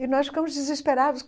E nós ficamos desesperados.